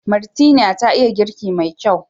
Martina ta iya girki mai kyau.